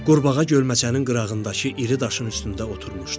Qurbağa gölməçənin qırağındakı iri daşın üstündə oturmuşdu.